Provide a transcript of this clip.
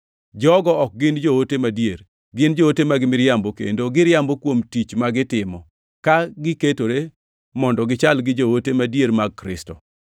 Jogo ok gin joote madier. Gin joote mag miriambo, kendo giriambo kuom tich ma gitimo, ka giketore mondo gichal gi joote madier mag Kristo.